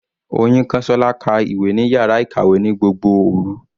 Oyinkansola ka ìwé ní yàrá ìkàwé ní gbogbo òru.